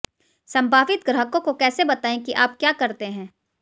संभावित ग्राहकों को कैसे बताएं कि आप क्या करते हैं